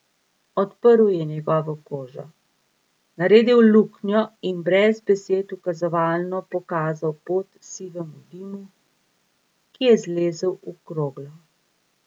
Odprl je njegovo kožo, naredil luknjo in brez besed ukazovalno pokazal pot sivemu dimu, ki je zlezel v kroglo.